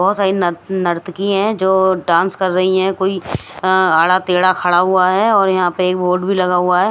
बहुत सारी नर नर्तकी हैजो डांस कर रही है कोई आड़ा तेड़ा खड़ा हुआ हैऔर यहां पर एक बोर्ड भी लगा हुआ है।